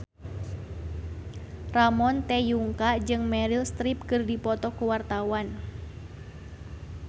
Ramon T. Yungka jeung Meryl Streep keur dipoto ku wartawan